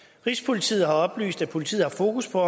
rigspolitiet har oplyst at politiet har fokus på